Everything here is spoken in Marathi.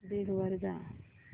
बिंग वर जा